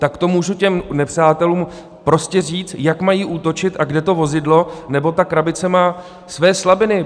Tak to můžu těm nepřátelům prostě říct, jak mají útočit a kde to vozidlo nebo ta krabice má své slabiny.